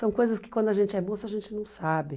São coisas que quando a gente é moça a gente não sabe.